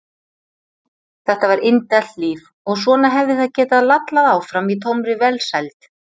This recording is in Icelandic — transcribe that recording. Þetta var indælt líf og svona hefði það getað lallað áfram í tómri velsæld.